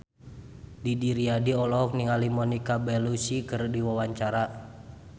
Didi Riyadi olohok ningali Monica Belluci keur diwawancara